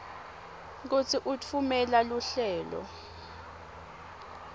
kutsi utfumela luhlelo